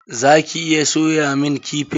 Za ki iya soyamun kifi?